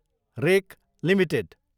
rake Ltd